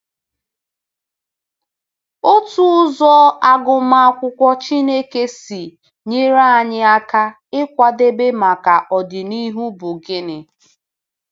Otu ụzọ agụmakwụkwọ Chineke si enyere anyị aka ịkwadebe maka ọdịnihu bụ gịnị?